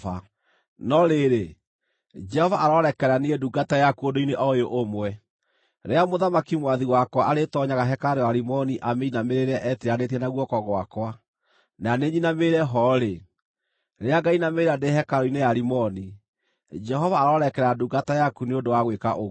No rĩrĩ, Jehova arorekera ndungata yaku ũndũ-inĩ o ũyũ ũmwe: Rĩrĩa mũthamaki mwathi wakwa arĩĩtoonyaga hekarũ ya Rimoni amĩinamĩrĩre etiranĩtie na guoko gwakwa, na niĩ nyinamĩrĩre ho-rĩ, rĩrĩa ngainamĩrĩra ndĩ hekarũ-inĩ ya Rimoni, Jehova arorekera ndungata yaku nĩ ũndũ wa gwĩka ũguo.”